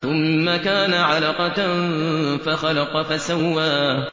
ثُمَّ كَانَ عَلَقَةً فَخَلَقَ فَسَوَّىٰ